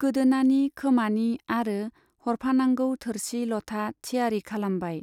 गोदोनानि, खोमानि आरो हरफानांगौ थोरसि लथा थियारी खालामबाय।